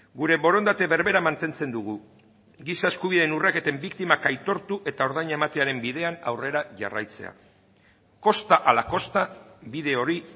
gure borondate berbera mantentzen dugu giza eskubideen urraketen biktimak aitortu eta ordaina ematearen bidean aurrera jarraitzea kosta ala kosta bide hori